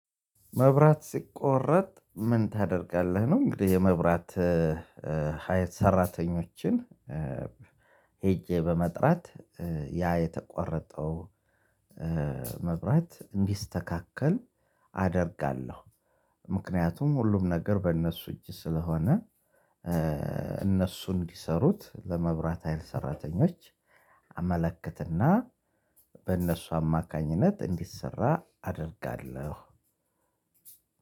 መብራት ሲቆረጥ ምን ታደርጋለህ? ነው እንግዲህ የመብራት ሀይል ሰራተኞችን ሄጄ በመጥራት ያ የተቆረጠው መብራት እንዲስተካከል አደርጋለሁ። ምክንያቱም ሁሉም ነገር በእነሱ እጅ ስለሆነ እነሱ እንዲሰሩት ለመብራት ሀይል ሰራተኞች አመለከትና በእነሱ አማካኝነት እንዲሰራ አደርጋለሁ።